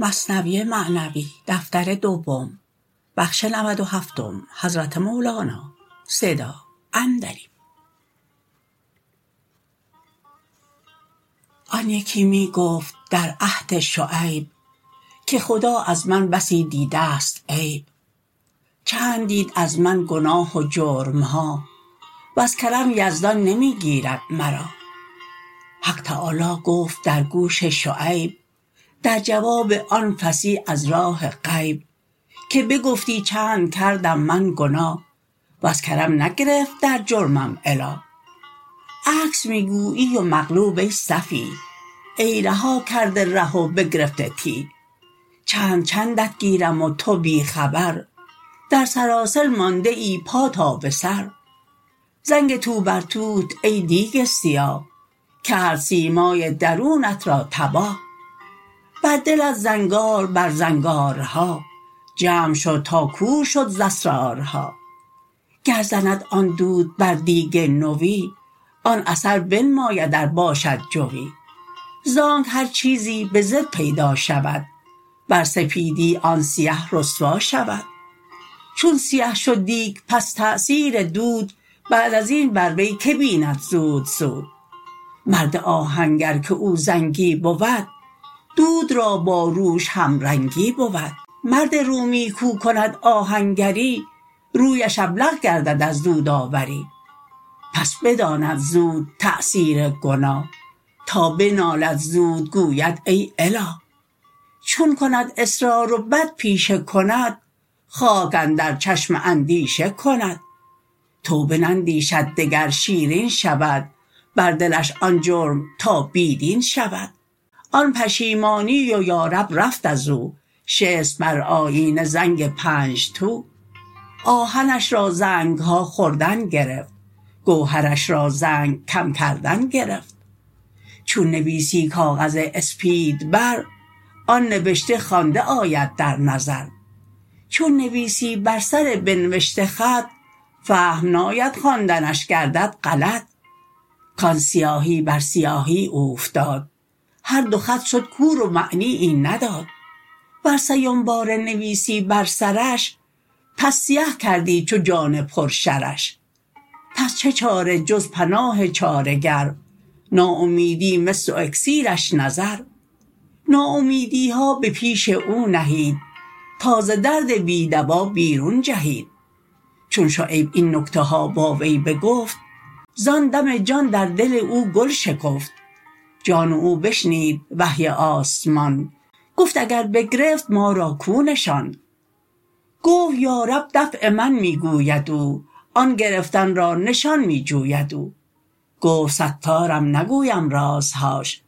آن یکی می گفت در عهد شعیب که خدا از من بسی دیدست عیب چند دید از من گناه و جرمها وز کرم یزدان نمی گیرد مرا حق تعالی گفت در گوش شعیب در جواب او فصیح از راه غیب که بگفتی چند کردم من گناه وز کرم نگرفت در جرمم اله عکس می گویی و مقلوب ای سفیه ای رها کرده ره و بگرفته تیه چند چندت گیرم و تو بی خبر در سلاسل مانده ای پا تا به سر زنگ توبرتوت ای دیگ سیاه کرد سیمای درونت را تباه بر دلت زنگار بر زنگارها جمع شد تا کور شد ز اسرارها گر زند آن دود بر دیگ نوی آن اثر بنماید ار باشد جوی زانک هر چیزی به ضد پیدا شود بر سپیدی آن سیه رسوا شود چون سیه شد دیگ پس تاثیر دود بعد ازین بر وی که بیند زود زود مرد آهنگر که او زنگی بود دود را با روش هم رنگی بود مرد رومی کو کند آهنگری رویش ابلق گردد از دودآوری پس بداند زود تاثیر گناه تا بنالد زود گوید ای اله چون کند اصرار و بد پیشه کند خاک اندر چشم اندیشه کند توبه نندیشد دگر شیرین شود بر دلش آن جرم تا بی دین شود آن پشیمانی و یا رب رفت ازو شست بر آیینه زنگ پنج تو آهنش را زنگها خوردن گرفت گوهرش را زنگ کم کردن گرفت چون نویسی کاغذ اسپید بر آن نبشته خوانده آید در نظر چون نویسی بر سر بنوشته خط فهم ناید خواندنش گردد غلط کان سیاهی بر سیاهی اوفتاد هر دو خط شد کور و معنیی نداد ور سیم باره نویسی بر سرش پس سیه کردی چو جان پر شرش پس چه چاره جز پناه چاره گر ناامیدی مس و اکسیرش نظر ناامیدیها به پیش او نهید تا ز درد بی دوا بیرون جهید چون شعیب این نکته ها با وی بگفت زان دم جان در دل او گل شکفت جان او بشنید وحی آسمان گفت اگر بگرفت ما را کو نشان گفت یا رب دفع من می گوید او آن گرفتن را نشان می جوید او گفت ستارم نگویم رازهاش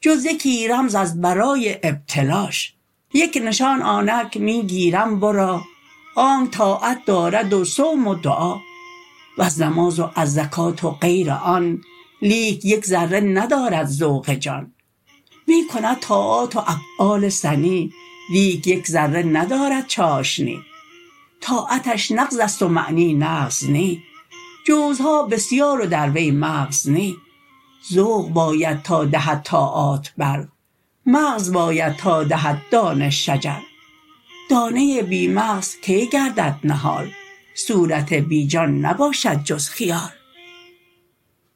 جز یکی رمز از برای ابتلاش یک نشان آنک می گیرم ورا آنک طاعت دارد و صوم و دعا وز نماز و از زکات و غیر آن لیک یک ذره ندارد ذوق جان می کند طاعات و افعال سنی لیک یک ذره ندارد چاشنی طاعتش نغزست و معنی نغز نی جوزها بسیار و در وی مغز نی ذوق باید تا دهد طاعات بر مغز باید تا دهد دانه شجر دانه بی مغز کی گردد نهال صورت بی جان نباشد جز خیال